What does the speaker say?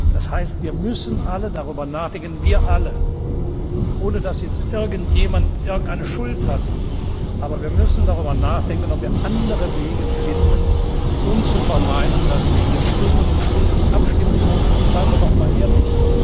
Das heißt, wir alle müssen darüber nachdenken, ohne dass jetzt irgendjemand irgendeine Schuld hat, aber wir müssen darüber nachdenken, ob wir andere Wege finden, um zu vermeiden, dass wir hier Stunden um Stunden abstimmen, wo man seien wir doch mal ehrlich!